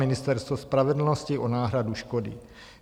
Ministerstvo spravedlnosti o náhradu škody.